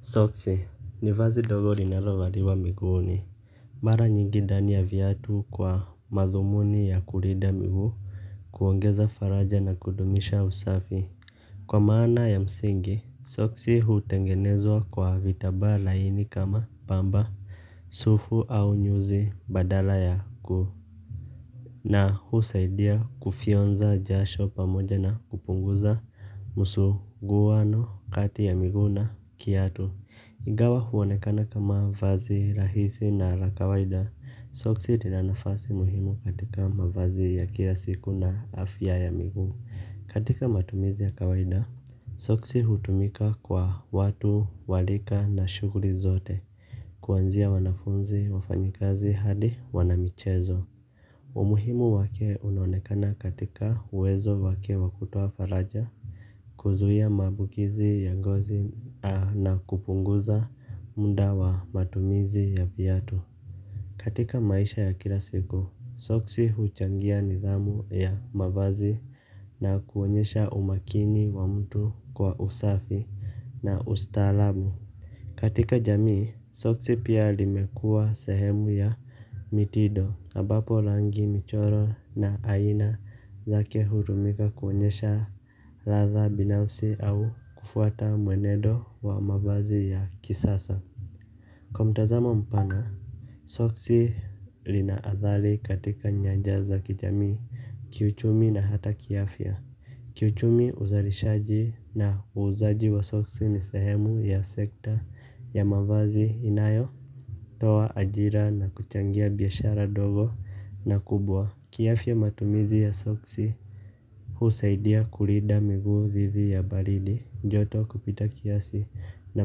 Soksi ni vazi ndogo linalo valiwa miguuni. Mara nyingi ndani ya viatu kwa madhumuni ya kulinda miguu kuongeza faraja na kudumisha usafi kwa maana ya msingi soksi hutengenezwa kwa vitambaa laini kama pamba sufu au nyuzi badala ya gu na husaidia kufyonza jasho pamoja na kupunguza msuguano kati ya miguu na kiatu. Ingawa huonekana kama vazi rahisi na la kawaida, soksi lina nafasi muhimu katika mavazi ya kila siku na afya ya miguu. Katika matumizi ya kawaida, soksi hutumika kwa watu wa rika na shughuri zote, kuanzia wanafunzi wafanyikazi hadi wanamichezo. Umuhimu wake unaonekana katika uwezo wake wa kutoa faraja kuzuia maambukizi ya ngozi na kupunguza muda wa matumizi ya viatu. Katika maisha ya kila siku, soksi huchangia nidhamu ya mavazi na kuonyesha umakini wa mtu kwa usafi na ustarabu. Katika jamii, soksi pia limekua sehemu ya mitindo ambapo rangi michoro na aina zake hutumika kuonyesha ladha binafsi au kufuata mwenendo wa mavazi ya kisasa. Kwa mtazamo mpana, soksi lina adhali katika nyanja za kijamii, kiuchumi na hata kiafia. Kiuchumi uzalishaji na uuzaji wa soksi ni sehemu ya sekta ya mavazi inayo toa ajira na kuchangia biashara ndogo na kubwa. Kiafya matumizi ya soksi husaidia kulinda miguu dhidi ya baridi joto kupita kiasi na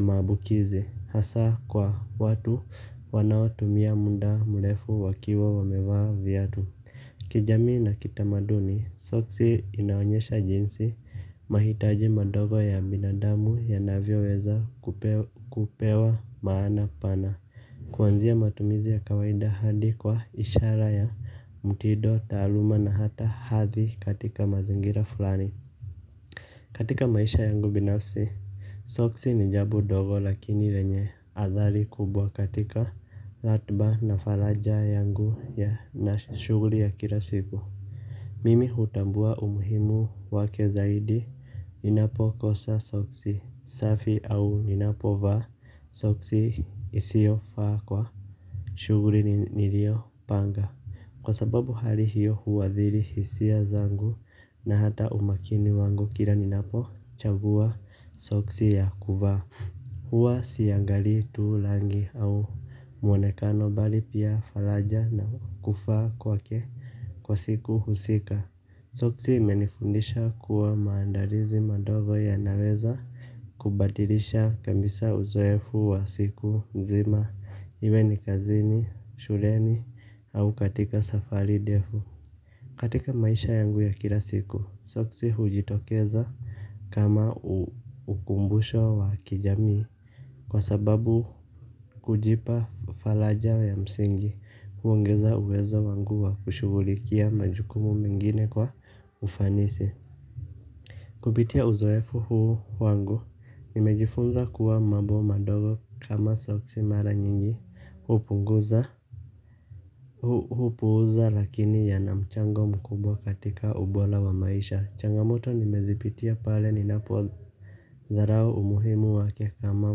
maambukizi hasa kwa watu wanaotumia muda mrefu wakiwa wamevaa viatu kijamii na kitamaduni soksi inaonyesha jinsi mahitaji madogo ya binadamu yanavyoweza kupewa maana pana. Kuanzia matumizi ya kawaida hadi kwa ishara ya mtindo, taaluma na hata hadhi katika mazingira fulani katika maisha yangu binafsi soksi ni jambo ndogo lakini yenye athari kubwa katika ratiba na faraja yangu na shughuli ya kila siku. Mimi hutambua umuhimu wake zaidi ninapo kosa soksi safi au ninapo vaa soksi isiyo faa kwa shughuli nilio panga. Kwa sababu hali hiyo huathiri hisia zangu na hata umakini wangu kila ninapo chagua soksi ya kuvaa. Huwa siangalii tu rangi au mwonekano bali pia faraja na kuvaa kwake kwa siku husika. Soksi imenifundisha kuwa maandalizi madogo yanaweza kubadilisha kabisa uzoefu wa siku nzima iwe ni kazini, shuleni au katika safari ndefu. Katika maisha yangu ya kila siku soksi hujitokeza kama ukumbusho wa kijamii kwa sababu kujipa faraja ya msingi kuongeza uwezo wangu wa kushughulikia majukumu mengine kwa ufanisi kupitia uzoefu huu wangu nimejifunza kuwa mambo madogo kama soksi mara nyingi hupunguza hupuza lakini yana mchango mkubwa katika ubora wa maisha. Changamoto nimezipitia pale ninapo dharau umuhimu wake kama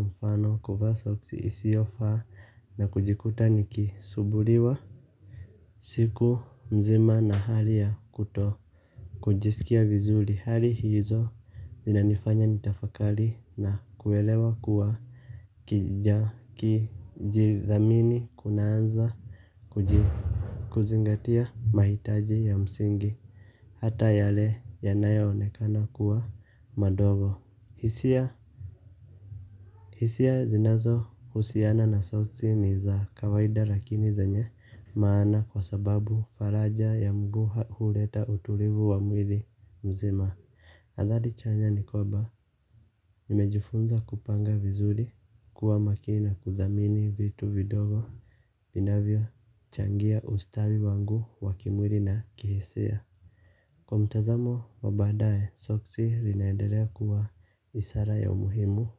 mfano kuvaa soksi isiyofaa na kujikuta niki sumbuliwa siku mzima na hali ya kuto kujisikia vizuri hali hizo zina nifanya nitafakari na kuelewa kuwa kujidhamini kunaanza kuzingatia mahitaji ya msingi, hata yale yanayo onekana kuwa madogo. Hisia zinazo husiana na soksi ni za kawaida lakini zenye maana kwa sababu faraja ya mguu huleta utulivu wa mwili mzima athari chanya ni kwamba nimejifunza kupanga vizuri kuwa makini na kudhamini vitu vidogo inavyo changia ustawi wangu wa kimwili na kihisia. Kwa mtazamo wa baadaye soksi inaendelea kuwa ishara ya umuhimu.